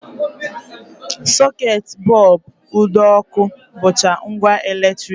Socket, bọlbụ, ụdọọkụ, bụcha ngwa eletrik